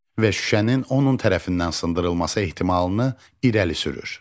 Və şüşənin onun tərəfindən sındırılması ehtimalını irəli sürür.